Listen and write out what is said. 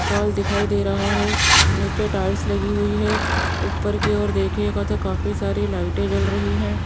Hall दिखाई दे रहा है नीचे टाइल्स लगी हुई है ऊपर की ओर देखिएगा तो काफी सारी लाइटें जल रही हैं।